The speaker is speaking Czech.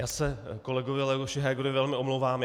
Já se kolegovi Leoši Hegerovi velmi omlouvám.